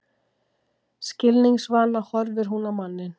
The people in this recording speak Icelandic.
Skilningsvana horfir hún á manninn.